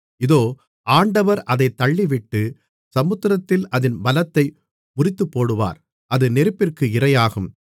தீரு தனக்கு மதிலைக் கட்டி தூளைப்போல் வெள்ளியையும் வீதிகளின் சேற்றைப்போல் பசும்பொன்னையும் சேர்த்துவைத்தது